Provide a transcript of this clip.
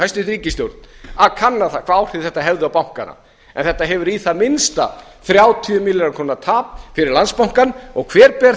hæstvirt ríkisstjórn gleymdi að kanna það hvaða áhrif þetta hefði bankana en þetta hefur í það minnsta þrjátíu milljarða króna tap fyrir landsbankann og hver ber